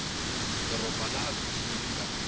doroba laha bindzu ri nga